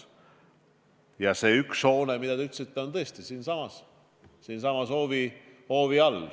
Ja üks hoone on, nagu te ütlesite, tõesti siinsamas hoovi all.